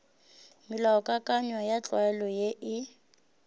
melaokakanywa ya tlwaelo ye e